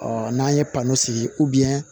Ɔ n'an ye pan sigi